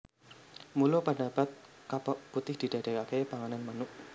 Mula padatan kepok putih didadékaké panganan manuk